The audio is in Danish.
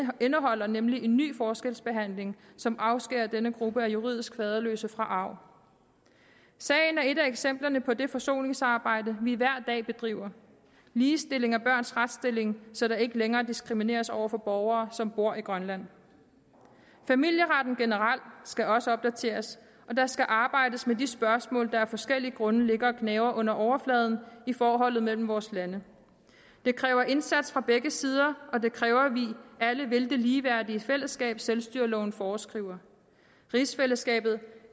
indeholder nemlig en ny forskelsbehandling som afskærer denne gruppe af juridisk faderløse fra arv sagen er et af eksemplerne på det forsoningsarbejde vi hver dag bedriver ligestilling af børns retsstilling så der ikke længere diskrimineres over for borgere som bor i grønland familieretten generelt skal også opdateres og der skal arbejdes med de spørgsmål der af forskellige grunde ligger og gnaver under overfladen i forholdet mellem vores lande det kræver indsats fra begge sider og det kræver at vi alle vil det ligeværdige fællesskab selvstyreloven foreskriver rigsfællesskabet